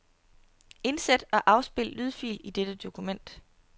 Indsæt og afspil lydfil i dette dokument.